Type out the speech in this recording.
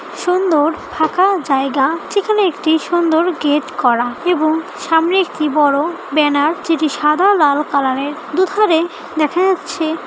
সুন্দর থাকার জায়গা যেখানে একটি সুন্দর গেট করা এবং সামনের একটি বড়ো ব্যানার যেটি সাদা লাল কালার - এর দুধারে দেখা যাচ্ছে --